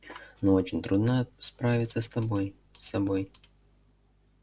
но очень трудно справиться с тобой с собой